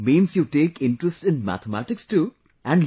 Means you take interest in mathematics too and